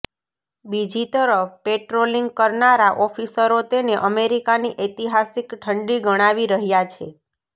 બીજી તરફ પેટ્રોલિંગ કરનારા ઓફિસરો તેને અમેરિકાની ઐતિહાસિક ઠંડી ગણાવી રહ્યા છે